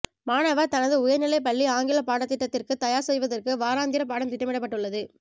மாணவர் தனது உயர்நிலை பள்ளி ஆங்கில பாடத்திட்டத்திற்கு தயார் செய்வதற்கு வாராந்திர பாடம் திட்டமிடப்பட்டுள்ளது